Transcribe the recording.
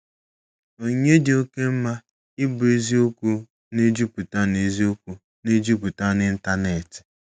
Onyinye dị oke mma - ịbụ eziokwu na-ejupụta na eziokwu na-ejupụta na ịntanetị.